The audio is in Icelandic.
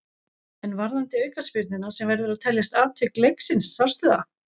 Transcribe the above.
En varðandi aukaspyrnuna sem verður að teljast atvik leiksins, sástu það?